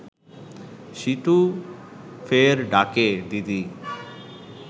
সীতু ফের ডাকে, দিদি